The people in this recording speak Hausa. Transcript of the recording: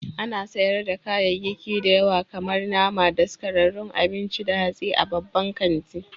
Ana sayar da kayayyaki da yawa kamar nama, daskararrun abinci da hatsi a babban kanti.